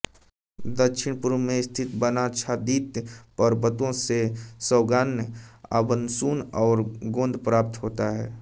दक्षिणपूर्व में स्थित वनाच्छादित पर्वतों से सागौन आबनूस और गोंद प्राप्त होता है